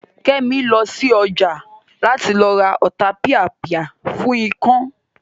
Kẹ́mi lọ sí ọjà láti lọ ra Ọ̀tapìàpìà fún ikán